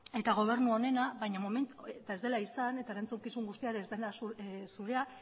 eta gobernu honena ez dela izan eta erantzukizun guztia ez dela zurea